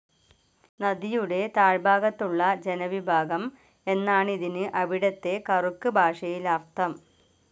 നദിയുടെ താഴ്ഭാഗത്തുള്ള ജനവിഭാഗം എന്നാണിതിന് അവിടത്തെ കറുക്ക് ഭാഷയിൽ അർത്ഥം.